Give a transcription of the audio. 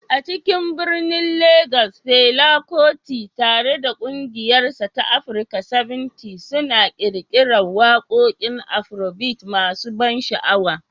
A cikin birnin Legas, Fela Kuti, tare da ƙungiyarsa ta Africa 70, suna ƙirƙirar waƙoƙin Afrobeat masu ban sha'awa.